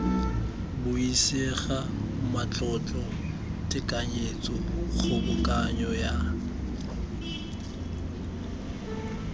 buisega matlotlo tekanyetso kgobokanyo ya